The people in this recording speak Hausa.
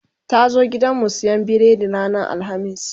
ta zo gidanmu siyan biredi ranar alhamis